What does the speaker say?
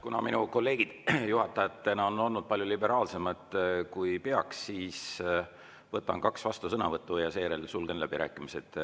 Kuna minu kolleegid juhatajatena on olnud palju liberaalsemad, kui peaks, siis võtan kaks vastusõnavõttu ja seejärel sulgen läbirääkimised.